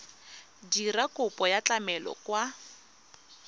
dira kopo ya tlamelo kwa